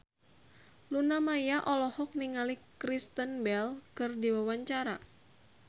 Luna Maya olohok ningali Kristen Bell keur diwawancara